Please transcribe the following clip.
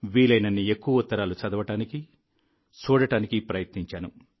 వీలైనన్ని ఎక్కువ ఉత్తరాలు చదవడానికి చూడడానికి ప్రయత్నించాను